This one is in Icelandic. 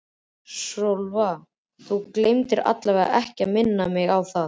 SÓLA: Þú gleymir allavega ekki að minna mig á það.